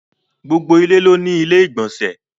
Gbogbo ilẹ̀ ló ní ilẹ̀-ìgbọ̀nsẹ̀.